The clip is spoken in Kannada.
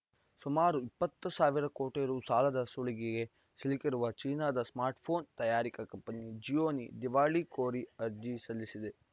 ಸುಮಾರು ಇಪ್ಪತ್ತು ಸಾವಿರ ಕೋಟಿ ರು ಸಾಲದ ಸುಳಿಗೆ ಸಿಲುಕಿರುವ ಚೀನಾದ ಸ್ಮಾರ್ಟ್‌ಫೋನ್‌ ತಯಾರಿಕಾ ಕಂಪನಿ ಜಿಯೋನಿ ದಿವಾಳಿ ಕೋರಿ ಅರ್ಜಿ ಸಲ್ಲಿಸಿದೆ